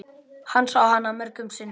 Hann sá hana mörgum sinnum.